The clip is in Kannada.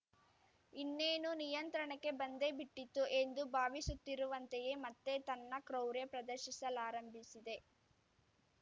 ಇನ್ನೇನು ನಿಯಂತ್ರಣಕ್ಕೆ ಬಂದೇ ಬಿಟ್ಟಿತು ಎಂದು ಭಾವಿಸುತ್ತಿರುವಂತೆಯೇ ಮತ್ತೆ ತನ್ನ ಕ್ರೌರ್ಯ ಪ್ರದರ್ಶಿಸಲಾರಂಭಿಸಿದೆ